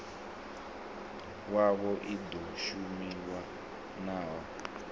yavho i ḓo shumiwa nayo